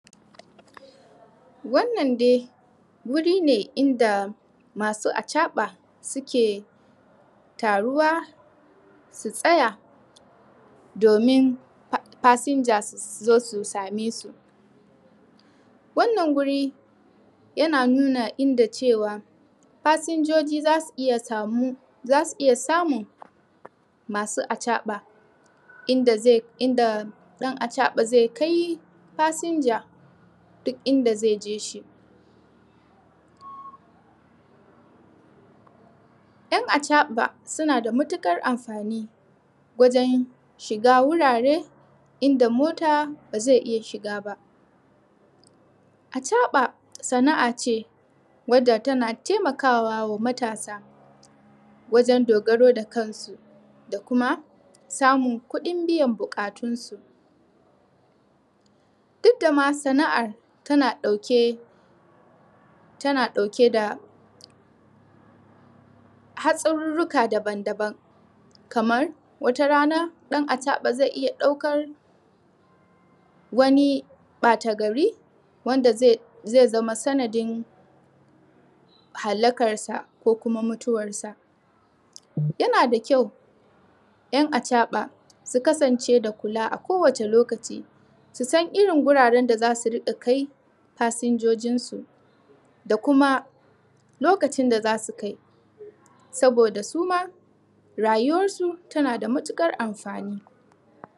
Wannan dai wuri ne inda masu acaɓa da suke taruwa su tsaya domin fasija su zo su same su. Wannan wuri yana nuna inda cewa fasinjoji za su iya samun masu acaɓa inda ɗan acaɓa zai kai fasinja duk inda zai je shi. 'yan acaba suna da matuƙar amfani wsjen shiga wurare wanda mota ba zai iya shiga ba. Acaɓa sana'a ce wanda tana taimakawa ga matasa wajen dogaro da kansu da kuma samun kuɗin biyan buƙatunsu. Duk da ana sana'ar tana ɗauke da hatsarurruka daban-daban, kamar wata rana ɗan acaɓa zai iya ɗaukar wani ɓata gari wanda zai zama sanadin halakarsa ko kuma mutuwarsa. Yana da ƙyau 'yan acaɓa a kowace lokaci su san irin wuraren da za su rika kai fasinjojinsu da kuma lokacin da za su kai sabida su ma rayuwar su tana da matuƙar amfani.